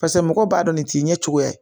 Paseke mɔgɔw b'a dɔn nin t'i ɲɛ cogoya ye